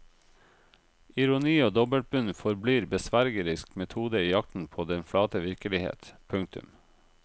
Ironi og dobbeltbunn forblir besvergerisk metode i jakten på den flate virkelighet. punktum